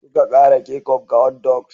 Suka kara kecup ga hotdogs.